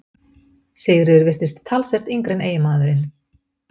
Sigríður virtist talsvert yngri en eiginmaðurinn.